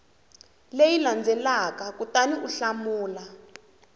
leyi landzelaka kutani u hlamula